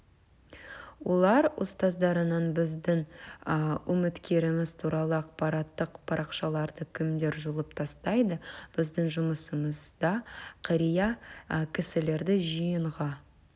олар ұстаздарынан біздің үміткеріміз туралы ақпараттық парақшаларды кімдер жұлып тастайды біздің жұмысымызда қария кісілерді жиынға